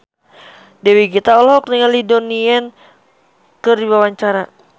Dewi Gita olohok ningali Donnie Yan keur diwawancara